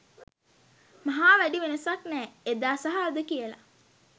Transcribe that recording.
මහා වැඩි වෙනසක් නෑ එදා‌ සහ අද කියල